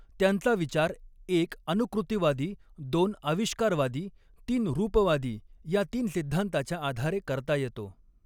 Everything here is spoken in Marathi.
त्यांचा विचार एक अनुकृतिवादी दोन आविष्कारवादी तीन रूपवादी ह्या तीन सिद्धांताच्या आधारे करता येतो.